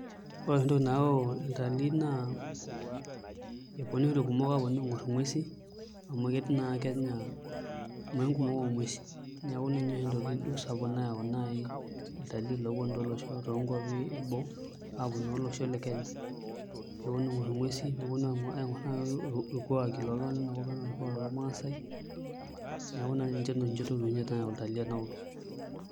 Ore oshi entoki nayau iltalii naa eponu oshi irkumok aing'orr nguesin amu ketii naa Kenya imuain kumok oonguesin, neeku ninye naa entoki oshi sapuk nayau naai iltalii oopuni toonkuapi eboo aaponu naa olosho le Kenya neponu aing'orr nguesi neonu aingorr naai irkuaki lenakop ang' ena orkuak lormaasai, neeku ina oshi nayau iltalii enakop.